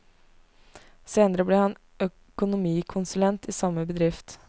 Senere ble han økonomikonsulent i samme bedrift.